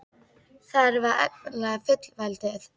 Þarf að efla fullveldið?